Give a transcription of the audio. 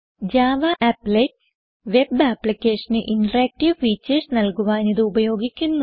Java Applets web applicationന് interactive features നൽകുവാൻ ഇത് ഉപയോഗിക്കുന്നു